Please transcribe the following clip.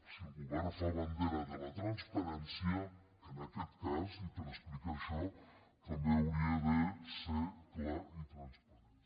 si el govern fa ban·dera de la transparència en aquest cas i per explicar això també hauria de ser clar i transparent